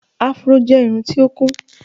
Afro jẹ́ irun tí ó kún.